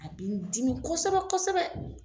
A bɛ n dimi kosɛbɛ kosɛbɛ.